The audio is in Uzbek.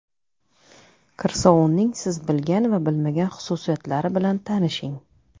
Kir sovunning siz bilgan va bilmagan xususiyatlari bilan tanishing.